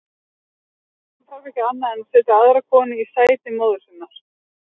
Drengurinn þarf ekki annað en setja aðra konu í sæti móður sinnar.